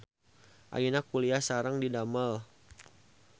Ayeuna kuliah sareng didamel.